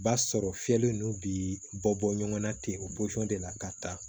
Ba sɔrɔ fiyɛli ninnu bi bɔ bɔ ɲɔgɔn na ten o de la ka taa